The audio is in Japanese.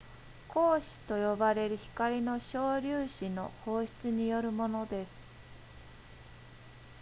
光子と呼ばれる光の小粒子の放出によるものです